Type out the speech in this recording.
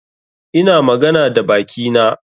Ina magana da bakina.